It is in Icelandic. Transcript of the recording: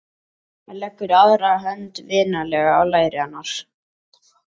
Hann leggur aðra hönd vinalega á læri hennar.